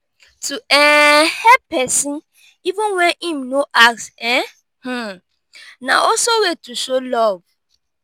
to um help persin even when im no ask um um na also way to show love